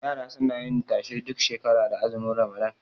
Yara suna yin tashe duk shekara da azumin ramadan